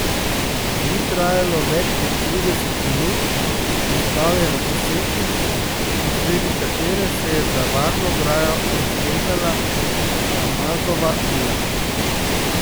Ni trajalo več kot trideset minut in stal je na poseki, na sredi katere se je za varno ograjo raztezala Ramazova vila.